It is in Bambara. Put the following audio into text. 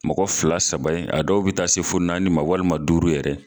Mɔgɔ fila saba a dɔw bɛ taa se fo naani ma walima duuru yɛrɛ